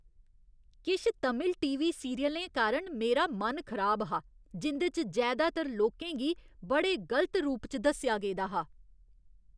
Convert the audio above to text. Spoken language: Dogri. किश तमिल टी.वी. सीरियलें कारण मेरा मन खराब हा, जिं'दे च जैदातर लोकें गी बड़े गलत रूप च दस्सेआ गेदा हा।